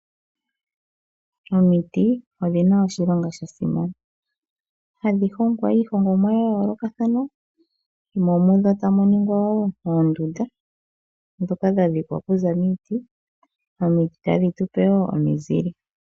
Omiiti odhina oshilonga sha simana. Hadhi hongwa iihongomwa ya yolokathana mo mudho tamu ningwa wo oondunda dhoka dha dhikwa kuza miiti. Omiiti tadhi tupe wo omizile.